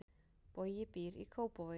Bogi býr í Kópavogi.